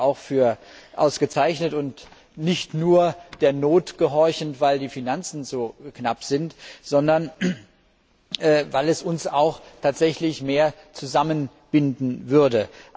Ich halte sie für ausgezeichnet und nicht nur der Not gehorchend, weil die Finanzen so knapp sind, sondern weil es uns auch tatsächlich mehr zusammenbinden würde.